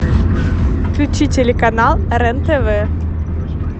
включи телеканал рен тв